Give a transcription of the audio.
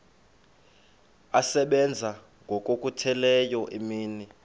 asebenza ngokokhutheleyo imini